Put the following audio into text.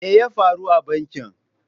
Me ya faru a bankin?